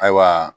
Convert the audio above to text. Ayiwa